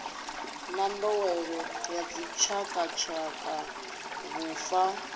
na nḓowelo ya dzitshakatshaka vhufa